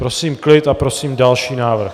Prosím klid a prosím další návrh.